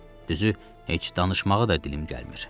Düzü, heç danışmağı da dilim gəlmir.